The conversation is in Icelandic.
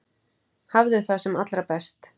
Hafðu það sem allra best.